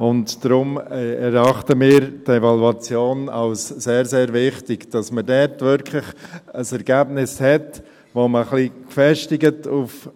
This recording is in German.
Deshalb erachten wir die Evaluation als sehr, sehr wichtig, damit man dort wirklich ein Ergebnis hat, womit man nachher das ganze Konstrukt – ein wenig gefestigt auf